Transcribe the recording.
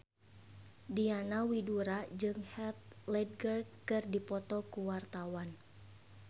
Diana Widoera jeung Heath Ledger keur dipoto ku wartawan